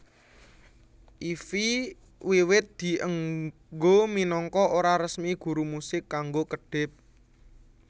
Ify wiwit dienggo minangka ora resmi guru musik kanggo kedhip